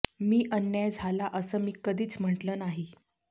मी अन्याय झाला असं मी कधीच म्हटलं नाही